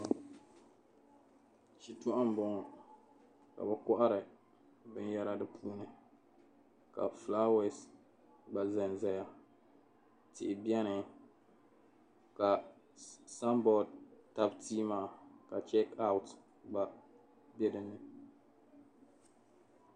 Shitɔɣu m-bɔŋɔ ka be kohiri binyɛra di puuni ka filaawas gba zan zaya tihi beni ka "sign board" tabi tia maa ka "check out" gba be dinni.